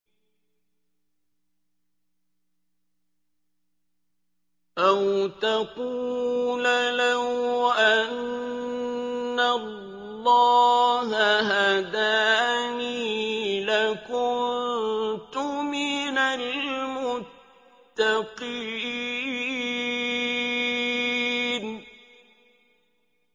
أَوْ تَقُولَ لَوْ أَنَّ اللَّهَ هَدَانِي لَكُنتُ مِنَ الْمُتَّقِينَ